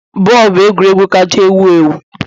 Bọọlụ bụ egwuregwu kacha ewu ewu